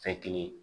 Fɛ kelen